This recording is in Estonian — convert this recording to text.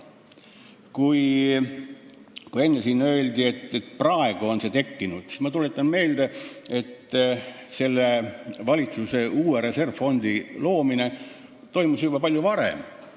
Kui siin enne öeldi, et alles praegu on see tekkinud, siis ma tuletan meelde, et tolle valitsuse uue reservfondi loomine toimus juba palju varem.